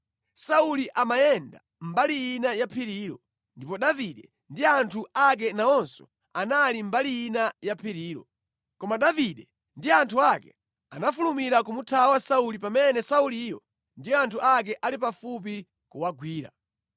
Sauli amayenda mbali ina ya phirilo, ndipo Davide ndi anthu ake nawonso anali mbali ina ya phirilo. Koma Davide ndi anthu ake anafulumira kumuthawa Sauli pamene Sauliyo ndi anthu ake ali pafupi kuwagwira.